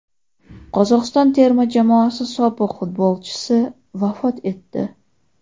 Qozog‘iston terma jamoasi sobiq futbolchisi vafot etdi.